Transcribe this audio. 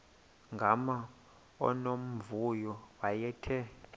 gama unomvuyo wayethe